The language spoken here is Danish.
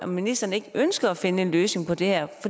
ministeren ikke ønsker at finde en løsning på det her